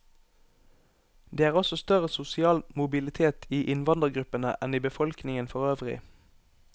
Det er også større sosial mobilitet i innvandrergruppene enn i befolkningen forøvrig.